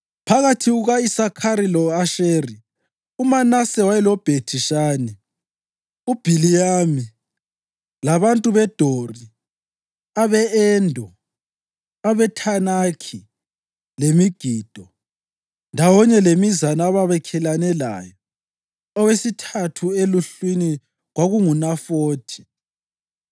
Phakathi kuka-Isakhari lo-Asheri uManase wayeloBhethi-Shani, u-Ibhiliyami labantu beDori, abe-Endo, abeThanakhi leMegido, ndawonye lemizana ababakhelane layo (owesithathu eluhlwini kwakunguNafothi).